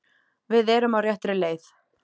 Við erum á réttri leið.